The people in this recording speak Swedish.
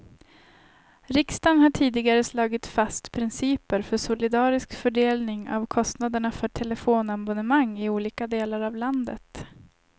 Riksdagen har tidigare slagit fast principer för solidarisk fördelning av kostnaderna för telefonabonnemang i olika delar av landet.